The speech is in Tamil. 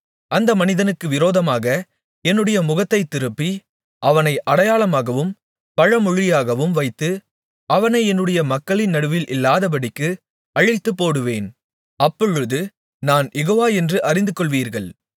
அந்த மனிதனுக்கு விரோதமாக என்னுடைய முகத்தைத் திருப்பி அவனை அடையாளமாகவும் பழமொழியாகவும் வைத்து அவனை என்னுடைய மக்களின் நடுவில் இல்லாதபடிக்கு அழித்துப்போடுவேன் அப்பொழுது நான் யெகோவா என்று அறிந்துகொள்வீர்கள்